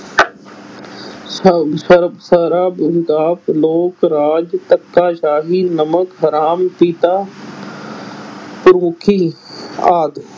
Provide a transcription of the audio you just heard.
ਸ ਸਰ ਸਰਬ ਲੋਕ ਰਾਜ, ਧੱਕਾ ਸ਼ਾਹੀ, ਨਮਕ ਹਰਾਮ, ਪਿਤਾ ਪੁਰਖੀ ਆਦਿ।